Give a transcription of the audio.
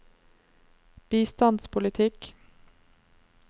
bistandspolitikk